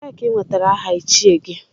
Ebee ka i nwetara aha Ichie gị?